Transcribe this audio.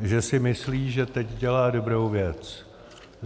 že si myslí, že teď dělá dobrou věc.